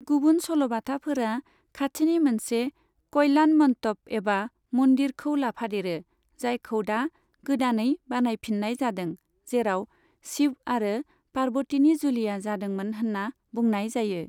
गुबुन सल'बाथाफोरा खाथिनि मोनसे कल्याणमन्टप एबा मन्दिरखौ लाफादेरो, जायखौ दा गोदानै बानायफिन्नाय जादों, जेराव शिब आरो पार्बतिनि जुलिया जादोंमोन होन्ना बुंनाय जायो।